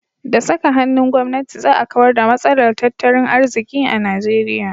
Da saka hannun gwamnati za a kawar da matsalar tattalin arziki a Nigeria.